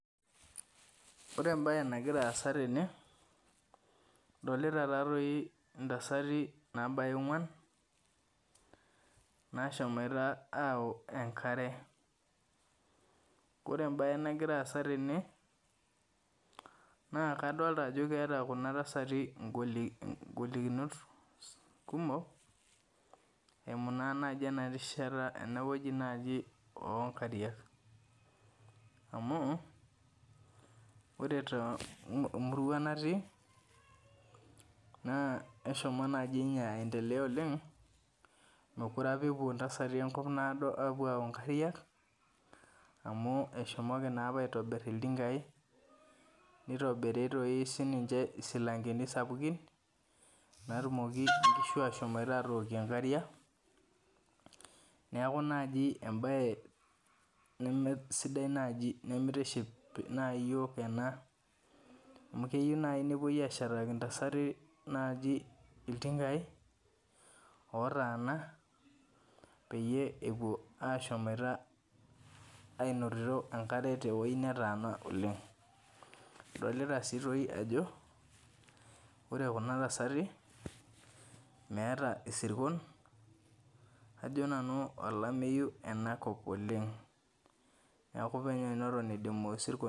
Ore ebae nagira aasa tene, adolita tatoi intasati nabaya ong'uan, nashomoita au enkare. Ore ebae nagira aasa tene, naa kadolta ajo keeta kuna tasati igolikinot kumok, eimu naa naji enarishata enewueji naji onkariak. Amu, ore tomuruan natii, naa eshomo naji nye aendelea oleng, mekure apa epuo ntasati enkop naado apuo au nkariak, amu eshomoki naapa aitobir iltinkai, nitobiri toi sininche isilankeni sapukin, natumoki nkishu ashomoita atokie nkariak. Neeku naji ebae nemesidai naji nimitiship nai yiok ena. Amu keu nai nepoi ashetaki intasati naji iltinkai otaana, peyie epuo ashomoita ainotito enkare tewoi netaana oleng. Adolita si toi ajo, ore kuna tasati, meeta isirkon, ajo nanu olameyu enakop oleng. Neeku penyo neton idimu isirkon